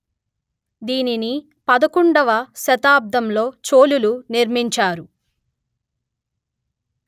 దీనిని పదకొండువ శతాబ్దంలో చోళులు నిర్మించారు